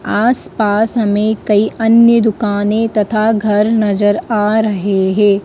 आसपास हमें कई अन्य दुकानें तथा घर नजर आ रहे हे ।